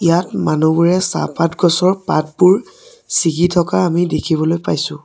য়াত মানুহবোৰে চাহপাত গছৰ পাতবোৰ চিগি থকা আমি দেখিবলৈ পাইছোঁ।